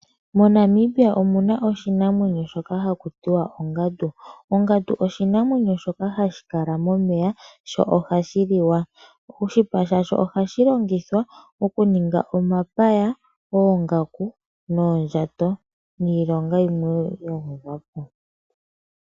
MoNamibia omuna oshinamwenyo shoka hakutiwa ongadu. Ongadu oshinamwenyo shoka hashi kala momeya sho ohashi liwa. Oshipa shasho ohashi longithwa okuninga omapaya, oongaku noondjato niilonga yimwe ya gwedhwa po.